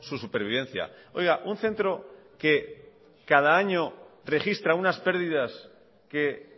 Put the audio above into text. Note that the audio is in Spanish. su supervivencia un centro que cada año registra unas pérdidas que